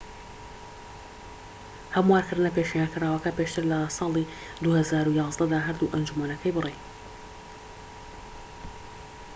هەموارکردنە پێشنیارکراوەکە پێشتر لە ساڵی 2011 دا هەردوو ئەنجومەنەکەی بڕی